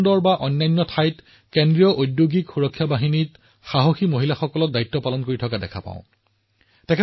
মই মহিলা আৰক্ষীসকলক বিদ্যালয় খোলাৰ পিছত তেওঁলোকৰ অঞ্চলৰ বিদ্যালয়সমূহলৈ যাবলৈ তাত ছোৱালীবোৰৰ সৈতে কথা পাতিবলৈ অনুৰোধ জনাইছো